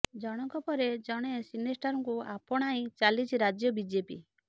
ଜଣକ ପରେ ଜଣେ ସିନେ ଷ୍ଟାରଙ୍କୁ ଆପଣାଇ ଚାଲିଛି ରାଜ୍ୟ ବିଜେପି